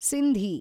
Sindhi